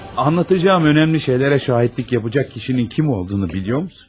Anlatacağım önəmli şeylərə şahidlik yapacaq kişinin kim olduğunu bilirsiniz?